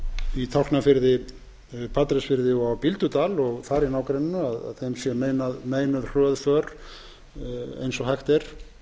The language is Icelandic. í tálknafirði á patreksfirði og á bíldudal og þar í nágrenni sé meinuð hröð för eins og hægt er